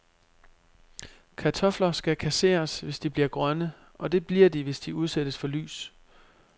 Kartofler skal kasseres, hvis de bliver grønne, og det bliver de, hvis de udsættes for lys.